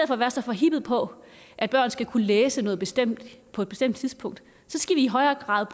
for at være så forhippet på at børn skal kunne læse noget bestemt på et bestemt tidspunkt skal vi i højere grad